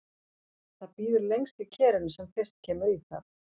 Það býður lengst í kerinu sem fyrst kemur í það.